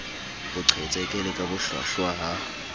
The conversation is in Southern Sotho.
boqhetseke le ka bohlwahlwa ha